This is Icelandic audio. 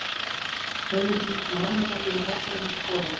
Tveimur mínútum áður hefði ég náð honum og skorað.